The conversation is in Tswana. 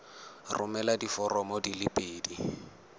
romela diforomo di le pedi